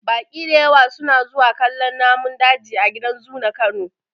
Baƙi dayawa su na zuwa kallon namun daji a gidan zu na kano.